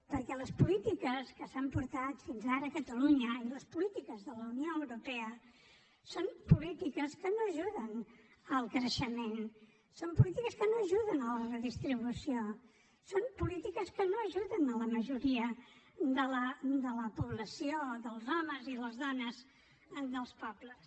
perquè les polítiques que s’han portat fins ara a catalunya i les polítiques de la unió europea són polítiques que no ajuden el creixement són polítiques que no ajuden la redistribució són polítiques que no ajuden la majoria de la població dels homes i les dones en els pobles